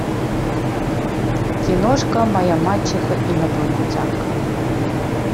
киношка моя мачеха инопланетянка